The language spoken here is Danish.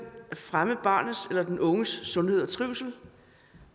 at fremme barnets eller den unges sundhed og trivsel